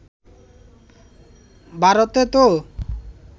ভারতে তো